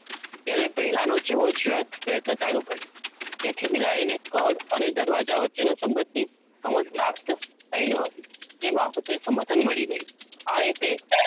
જેને પહેલા નો જેવો, વયથ, પ્રયત્ન ચાલુ કર્યો તેથી બિલાડી ને કડ અને દરવાજા વચ્ચે નો સબંધ થી સમય પ્રાપ્ત થઈ ન હતી તે બાબતે સમર્થન મળી ગ્યું આ હેતે,